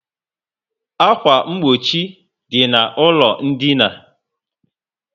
Akwa mgbochi dị na ụlọ dina